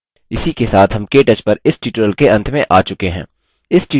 इसी के साथ हम केटच पर इस tutorial के अंत में आ चुके हैं